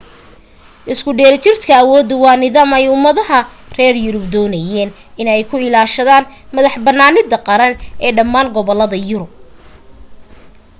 isku dheelitirka awooddu waa nidaam ay ummadaha reer yurub doonayeen in ay ku ilaashadaan madax-bannaanida qaran ee dhammaan gobollada yurub